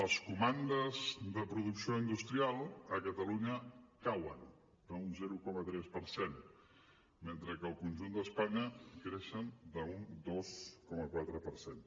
les comandes de producció industrial a catalunya cauen un zero coma tres per cent mentre que al conjunt d’espanya creixen d’un dos coma quatre per cent